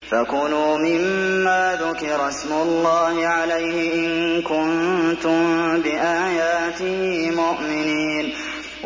فَكُلُوا مِمَّا ذُكِرَ اسْمُ اللَّهِ عَلَيْهِ إِن كُنتُم بِآيَاتِهِ مُؤْمِنِينَ